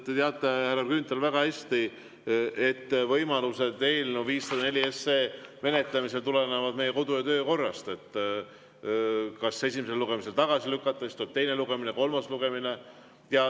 Te teate, härra Grünthal, väga hästi, et võimalused eelnõu 504 menetlemisel tulenevad meie kodu‑ ja töökorrast: kas esimesel lugemisel tagasi lükata või siis tuleb teine lugemine ja kolmas lugemine.